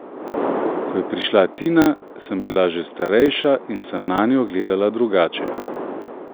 Ko je prišla Tina, sem bila že starejša in sem nanjo gledala drugače.